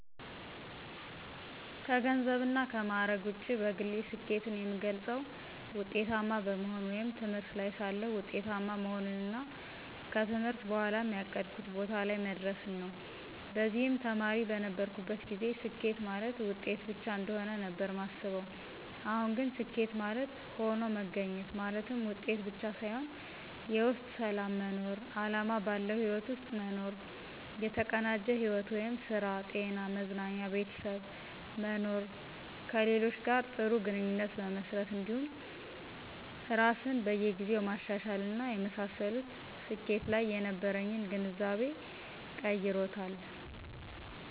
ከገንዘብና ከማዕረግ ውጪ በግሌ ስኬትን የምገልፀው ውጤታማ በመሆን ወይም ትምህርት ላይ ሳለሁ ውጤታማ መሆንንና ከትምህርት በኋም ያቀድኩት ቦታ ላይ መድረስን ነው። በዚህም ተማሪ በነበርኩበት ጊዜ ስኬት ማለት ውጤት ብቻ እንደሆነ ነበር ማስበው አሁን ግን ስኬት ማለት ሆኖ መገኘት ማለትም ውጤት ብቻ ሳይሆን የውስጥ ሰላም መኖር፣ አላማ ባለው ህይወት ውስጥ መኖር፣ የተቀናጀ ሕይወት ( ስራ፣ ጤና፣ መዝናኛ፣ ቤተሰብ) መኖር፣ ከሌሎች ጋር ጥሩ ግንኙነት መመስረት እንዲሁም ራስን በየ ጊዜው ማሻሻል እና የመሳሰሉት ስኬት ላይ የነበረኝን ግንዛቤ ቀይሮታል።